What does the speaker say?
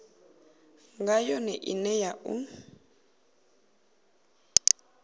nga yone ine na u